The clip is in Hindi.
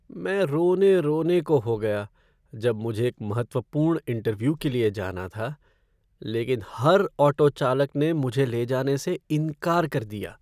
मैं रोने रोने को हो गया जब मुझे एक महत्वपूर्ण इंटर्व्यू के लिए जाना था लेकिन हर ऑटो चालक ने मुझे ले जाने से इनकार कर दिया।